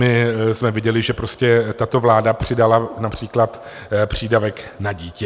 My jsme viděli, že tato vláda přidala například přídavek na dítě.